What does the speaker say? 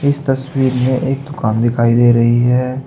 इस तस्वीर में एक दुकान दिखाई दे रही है।